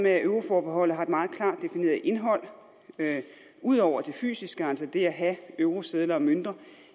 at euroforbeholdet har et meget klart defineret indhold ud over det fysiske altså det at have eurosedler og mønter